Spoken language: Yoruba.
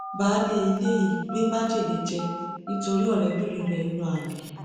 baálé ilé yìí gbé májèlé jẹ nítorí tí ọrẹbìnrin rẹ ń yan àlè